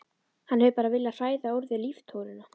Hann hefur bara viljað hræða úr þér líftóruna.